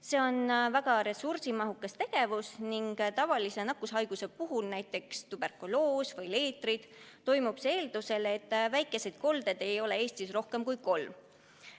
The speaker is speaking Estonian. See on väga ressursimahukas tegevus ning tavalise nakkushaiguse puhul, näiteks tuberkuloos või leetrid, toimub see eeldusel, et väikeseid koldeid ei ole Eestis rohkem kui kolm.